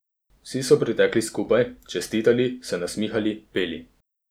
Vsi so pritekli skupaj, čestitali, se nasmihali, peli.